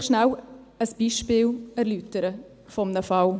Ich möchte Ihnen kurz ein Beispiel erläutern eines Falles.